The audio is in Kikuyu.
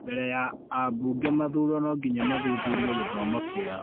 Mbele ya abunge mathurwo no nginya mathuthurio gĩthomo kĩao